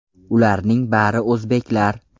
Ularning bari o‘zbeklar.